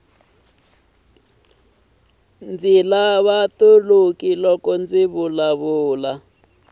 ndzi lava toloki loko ndzi vulavula